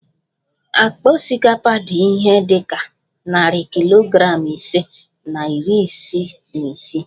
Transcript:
Akpa osikapa dị ihe dị ka narị kilogram ise na iri ise na isii